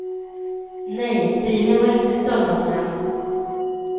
Nej, bilen var inte stöldanmäld.